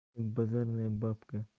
базарная бабка